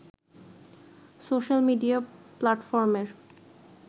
social media প্লাটফর্মের